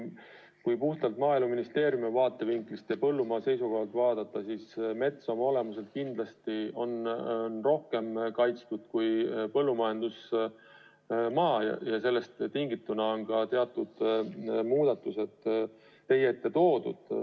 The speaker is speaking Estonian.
Kui puhtalt Maaeluministeeriumi vaatevinklist ja põllumaa seisukohalt vaadata, siis mets oma olemuselt kindlasti on rohkem kaitstud kui põllumajandusmaa ja sellest tingituna ongi teatud muudatused teie ette toodud.